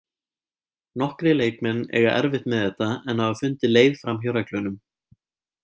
Nokkrir leikmenn eiga erfitt með þetta en hafa fundið leið framhjá reglunum.